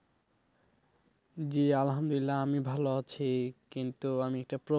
জি আলহামদুলিল্লাহ আমি ভালো আছি কিন্তু আমি একটা